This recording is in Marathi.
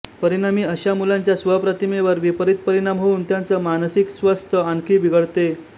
परिणामी अश्या मुलांच्या स्व प्रतिमेवर विपरीत परिणाम होऊन त्याचं मानसिक स्वस्थ आणखी बिघडते